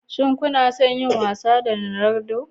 Shin kuna son yin wasa da Ronaldo?